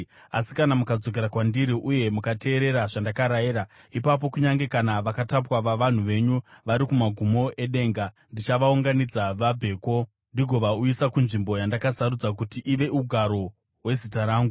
asi kana mukadzokera kwandiri uye mukateerera zvandakarayira, ipapo kunyange kana vakatapwa vavanhu venyu vari kumagumo edenga, ndichavaunganidza vabveko ndigovauyisa kunzvimbo yandakasarudza kuti ive ugaro hweZita rangu.’